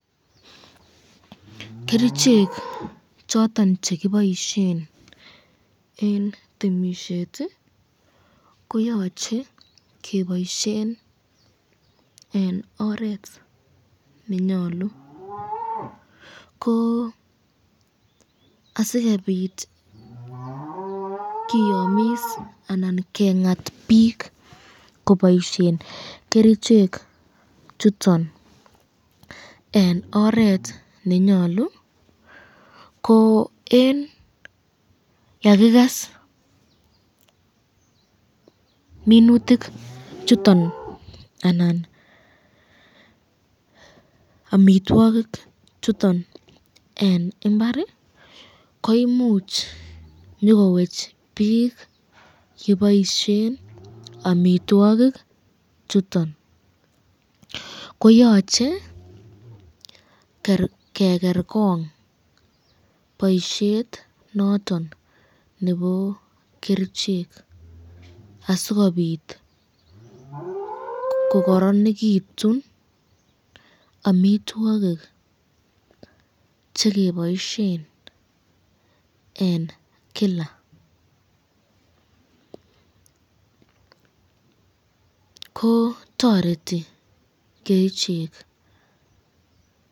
Kerichek choton che kiboisien en temisiet koyoche keboisien en oret nenyolu. Ko asikobit kiyomis anan keng'at biik koboisien kerichek chuton en oret nenyolu ko en yekikes minutik chuton anan amitwogik chuton en mbar koimuch nyokowech biik che boishen amitwogik chuton. Koyoche ke ker kong boisiet noton nebo kerichek asikobit ko koronegitun omitwogik che keboishen en kila. Ko toreti kerichek.